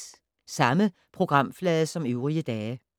Samme programflade som øvrige dage